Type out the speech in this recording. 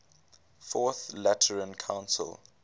fourth lateran council